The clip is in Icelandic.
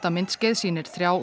myndskeið sýnir þrjá